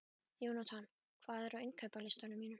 Jónatan, hvað er á innkaupalistanum mínum?